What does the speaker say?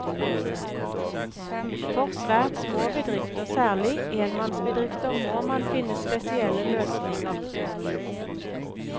For svært små bedrifter, særlig enmannsbedrifter, må man finne spesielle løsninger.